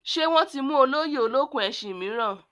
Ṣé wọ́n ti mú olóyè olókùn-ẹṣin mìíràn?